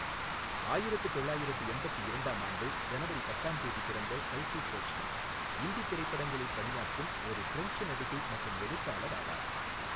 ஆயிரத்து தொள்ளாயிரத்து எண்பத்து இரண்டாம் ஆண்டு ஜனவரி பத்தாம் தேதி பிறந்த கல்கி கோச்லின், இந்தித் திரைப்படங்களில் பணியாற்றும் ஒரு ஃபிரெஞ்சு நடிகை மற்றும் எழுத்தாளர் ஆவார்.